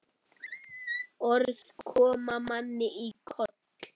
Orð koma manni í koll.